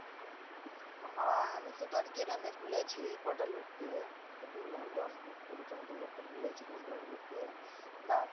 হা আমিতো ধর গ্রামে বুলেছি কটা লোক কে তো বুললাম দশ কুড়ি টা মত লোককে বুলেছি দশ বারোটা লোককে তা